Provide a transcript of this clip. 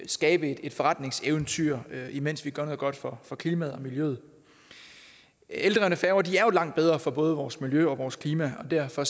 skabe et forretningseventyr mens vi gør noget godt for for klimaet og miljøet eldrevne færger er jo langt bedre for både vores miljø og vores klima og derfor